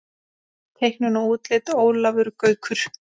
Teiknun og útlit Ólafur Gaukur.